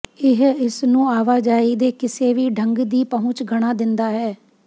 ਇਹ ਇਸ ਨੂੰ ਆਵਾਜਾਈ ਦੇ ਕਿਸੇ ਵੀ ਢੰਗ ਦੀ ਪਹੁੰਚ ਬਣਾ ਦਿੰਦਾ ਹੈ